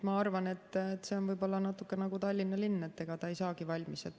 Ma arvan, et see on natukene nagu Tallinna linn, et ega ta ei saagi valmis.